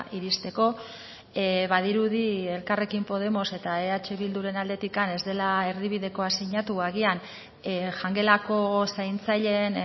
iristeko badirudi elkarrekin podemos eta eh bilduren aldetik ez dela erdibidekoa sinatu agian jangelako zaintzaileen